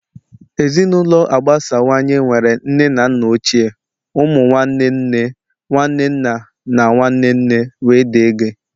Ezinụlọ agbasawanye nwere nne na nna ochie, ụmụ nwanne nne, nwanne nna na nwanne nne wdg